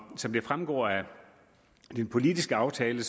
som det fremgår af den politiske aftale